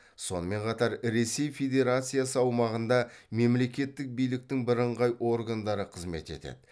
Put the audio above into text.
сонымен қатар ресей федерациясы аумағында мемлекеттік биліктің бірыңғай органдары қызмет етеді